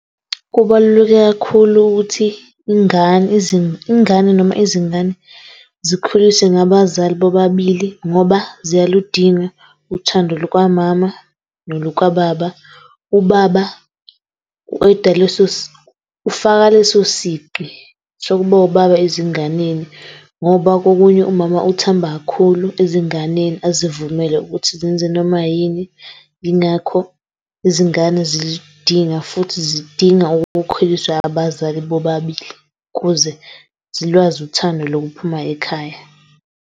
Kubaluleke kakhulu ukuthi ingane, ingane noma izingane zikhuliswe ngabazali bobabili ngoba ziyaludinga uthando lukamama nolukababa. Ubaba u-eda leso , ufaka leso sigqi sokuba ubaba ezinganeni ngoba kokunye umama uthamba kakhulu ezinganeni azivumele ukuthi zenze noma yini, yingakho izingane ziludinga futhi zidinga ukukhuliswa abazali bobabili ukuze zilwazi uthando lokuphuma ekhaya.